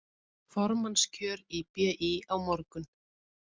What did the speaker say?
Formannskjör í BÍ á morgun